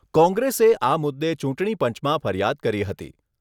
કોંગ્રેસે આ મુદ્દે ચૂંટણી પંચમાં ફરિયાદ કરી હતી.